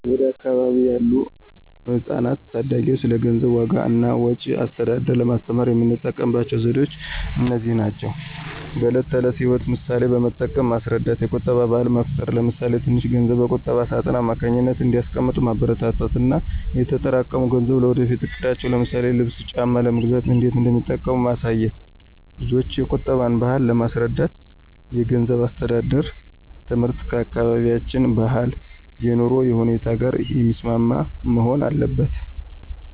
ወደ አካባቢዬ ያሉ ህጻናትና ታዳጊዎች ስለ ገንዘብ ዋጋ እና ወጪ አስተዳደር ለማስተማር የምጠቀመው ዘዴዎች እነዚህ ናቸው፦ በዕለት ተዕለት ሕይወት ምሳሌዎችን በመጠቀም ማስረዳት የቁጠባ ባህል መፍጠር ለምሳሌ ትንሽ ገንዘብ በቁጠባ ሳጥን አማካኝነት እንዲያስቀምጡ ማበረታታት እና የተጠራቀሙት ገንዘብ ለወደፊት እቅዳቸው ለምሳሌ ልብስ ጫማ ለመግዛት እንዴት እንደሚጠቅም ማሳየት። ልጆችን የቁጠባን ባህል ለማስረዳት የገንዘብ አስተዳደር ትምህርት ከአካባቢያችን ባህልና የኑሮ ሁኔታ ጋር የሚስማማ መሆን አለበት።